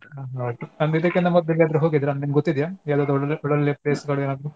ಹಾ ಹೌದು ಇದಿಕ್ಕಿನ ಮೊದ್ಲ್ ಎಲ್ಗಾದ್ರು ಹೋಗಿದ್ರಾ ನಿಮ್ಗ್ ಗೊತ್ತಿದ್ಯ ಯಾವ್ದದ್ರು ಒಳ್ಳೊಳ್ಳೆ ಒಳ್ಳೊಳ್ಳೆ place ಗಳು ಏನಾದ್ರೂ.